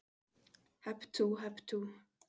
HEP TÚ, HEP TÚ